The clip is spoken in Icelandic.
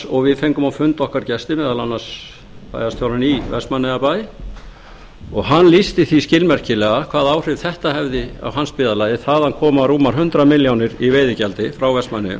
og við fengum á fund okkar gesti meðal annars bæjarstjórann í vestmannaeyjabæ og hann lýsti því skilmerkilega hvaða áhrif þetta hefði á hans byggðarlag það koma rúmar hundrað milljónir í veiðigjaldi frá vestmannaeyjum